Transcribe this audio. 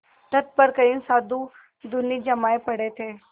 तट पर कई साधु धूनी जमाये पड़े थे